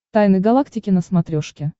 тайны галактики на смотрешке